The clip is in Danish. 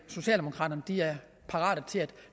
socialdemokraterne er parate til at